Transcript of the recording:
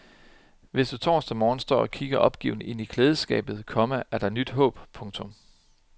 Hvis du torsdag morgen står og kigger opgivende ind i klædeskabet, komma er der nyt håb. punktum